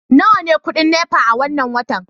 nawa ne kudin NEPA na wannan watan